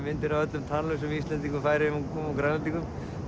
myndir af öllum tannlausum Íslendingum Færeyingum og Grænlendingum